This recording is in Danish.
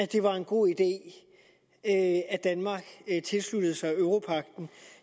det var en god idé at at danmark tilsluttede sig europagten